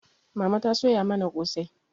Mama ta soya mana kosai